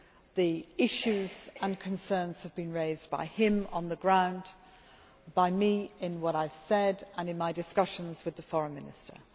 the issues and concerns have been raised by him on the ground, and by me in what I have said and in my discussions with the Foreign Minister.